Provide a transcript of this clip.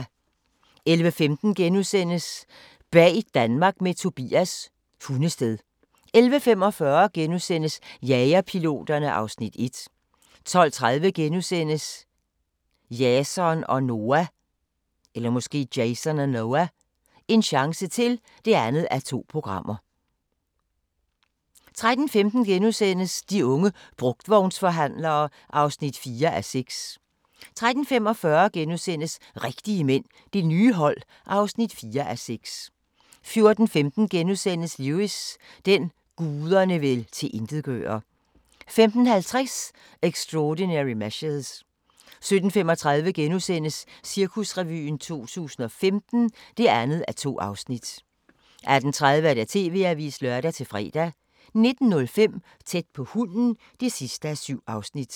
11:15: Bag Danmark med Tobias – Hundested * 11:45: Jagerpiloterne (Afs. 1)* 12:30: Jason og Noah – en chance til (2:2)* 13:15: De unge brugtvognsforhandlere (4:6)* 13:45: Rigtige mænd – Det nye hold (4:6)* 14:15: Lewis: Den, guderne vil tilintetgøre * 15:50: Extraordinary Measures 17:35: Cirkusrevyen 2015 (2:2)* 18:30: TV-avisen (lør-fre) 19:05: Tæt på hunden (7:7)